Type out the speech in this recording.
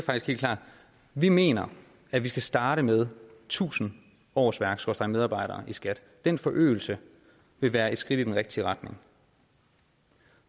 helt klart at vi mener at vi skal starte med tusind årsværk skråstreg medarbejdere i skat den forøgelse vil være et skridt i den rigtige retning